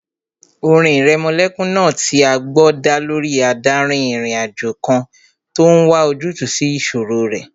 Orin ìrẹmọlẹ́kún náà tí a gbọ́ dá lórí adárin-ìrìnàjò kan tó n wá ojútùú sí ìṣòro rẹ̀